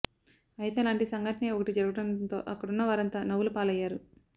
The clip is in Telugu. అయితే అలాంటి సంఘటనే ఒకటి జరగడంతో అక్కడున్న వారంతా నవ్వుల పాలయ్యారు